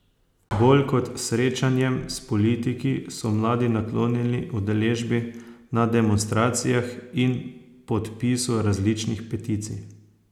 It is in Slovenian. Bolj kot srečanjem s politiki so mladi naklonjeni udeležbi na demonstracijah in podpisu različnih peticij.